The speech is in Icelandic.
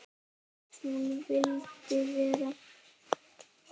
Hún vildi vera.